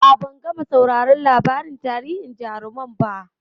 A'a, ban gama sauraron labarin tarihin jarumai ba.